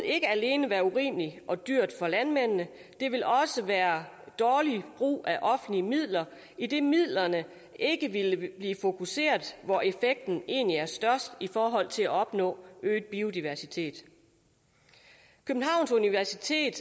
ikke alene være urimeligt og dyrt for landmændene det ville også være dårlig brug af offentlige midler idet midlerne ikke ville blive fokuseret hvor effekten egentlig er størst i forhold til at opnå øget biodiversitet københavns universitet